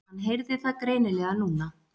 Hann heyrði það greinilega núna.